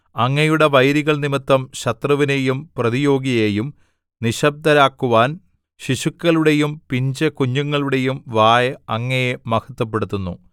അങ്ങയുടെ വൈരികൾ നിമിത്തം ശത്രുവിനെയും പ്രതിയോഗിയെയും നിശ്ശബ്ദരാക്കുവാൻ ശിശുക്കളുടെയും പിഞ്ചുകുഞ്ഞുങ്ങളുടെയും വായ് അങ്ങയെ മഹത്വപ്പെടുത്തുന്നു